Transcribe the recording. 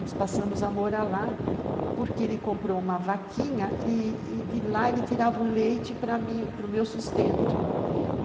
Nós passamos a morar lá porque ele comprou uma vaquinha e de lá ele tirava o leite para mim, para o meu sustento.